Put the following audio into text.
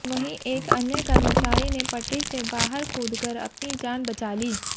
वहीं एक अन्य कर्मचारी ने पटरी से बाहर कूदकर अपनी जान बचा ली